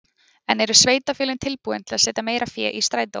En eru sveitarfélögin tilbúin til að setja meira fé í strætó?